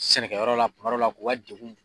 Sɛnɛkɛ yɔrɔ la kuma dɔ la k'u ka degun